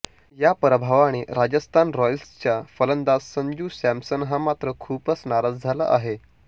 या पराभवाने राजस्थान रॉयल्सचा फलंदाज संजू सॅमसन हा मात्र खूपच नाराज झाला आहे